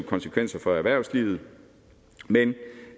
konsekvenser for erhvervslivet men